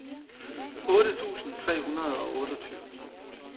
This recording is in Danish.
otte tusind tre hundrede og otteogtyve